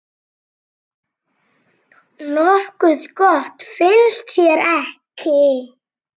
Nokkuð gott, finnst þér ekki?